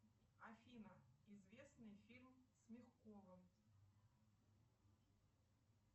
афина известный фильм с мягковым